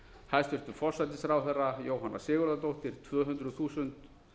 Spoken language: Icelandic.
hæstvirtur forsætisráðherra jóhanna sigurðardóttir tvö hundruð þúsund